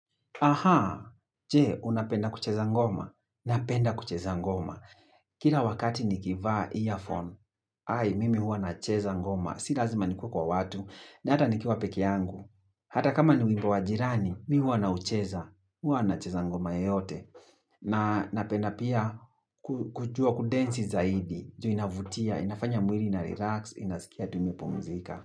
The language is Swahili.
Aha, jee, unapenda kuchezangoma. Napenda kucheza ngoma. Kira wakati nikivaa earphone. Hai, mimi huwa nacheza ngoma. Si lazima nikua kwa watu. Nata nikua peke yangu. Hata kama ni wimbo jirani, mi huwa na ucheza. Huwa nacheza ngoma yeyote. Na napenda pia kujua kudensi zaidi. Juhu inavutia, inafanya mwili na relax, inazikia tumepo mzika.